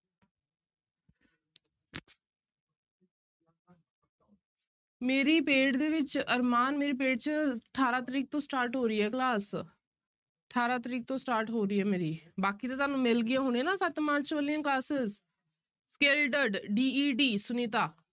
ਮੇਰੀ paid ਦੇ ਵਿੱਚ ਅਰਮਾਨ ਮੇਰੀ paid ਚ ਅਠਾਰਾਂ ਤਰੀਕ ਤੋਂ start ਹੋ ਰਹੀ ਹੈ class ਅਠਾਰਾਂ ਤਰੀਕ ਤੋਂ start ਹੋ ਰਹੀ ਹੈ ਮੇਰੀ, ਬਾਕੀ ਤਾਂ ਤੁਹਾਨੂੰ ਮਿਲ ਗਈਆਂ ਹੋਣੀਆਂ ਨਾ ਸੱਤ ਮਾਰਚ ਵਾਲੀਆਂ classes scalded D E D Sunita